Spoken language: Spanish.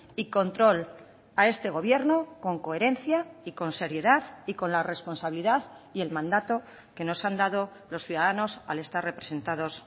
y control a este gobierno con coherencia y con seriedad y con la responsabilidad y el mandato que nos han dado los ciudadanos al estar representados